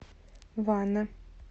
вана